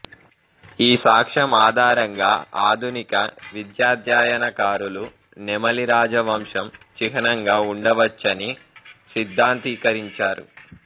ఈ సాక్ష్యం ఆధారంగా ఆధునిక విద్యాధ్యయనకారులు నెమలి రాజవంశం చిహ్నంగా ఉండవచ్చని సిద్ధాంతీకరించారు